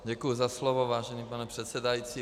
Děkuji za slovo, vážený pane předsedající.